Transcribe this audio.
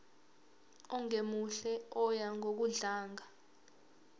ongemuhle oya ngokudlanga